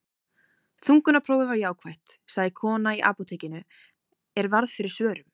Þungunarprófið var jákvætt, sagði kona í apótekinu er varð fyrir svörum.